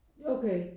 Okay